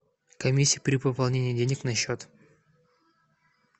комиссия при пополнении денег на счет